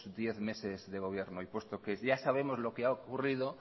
diez meses de gobierno y puesto que ya sabemos lo que ha ocurrido